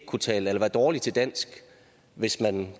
kunne tale eller være dårlig til dansk hvis man